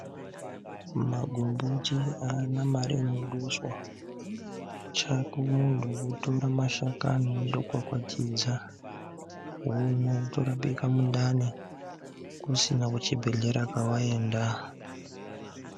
Magomboti haana mari inoduswa, chako muntu kutora magomboti wondokwakwatidza womwa wotorapika mundani, kusina kuchibhedhlera kwewaenda.